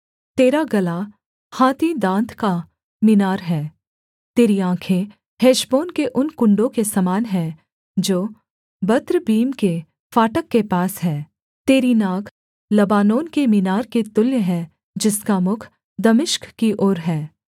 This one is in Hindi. तेरा गला हाथी दाँत का मीनार है तेरी आँखें हेशबोन के उन कुण्डों के समान हैं जो बत्रब्बीम के फाटक के पास हैं तेरी नाक लबानोन के मीनार के तुल्य है जिसका मुख दमिश्क की ओर है